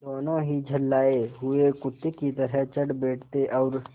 दोनों ही झल्लाये हुए कुत्ते की तरह चढ़ बैठते और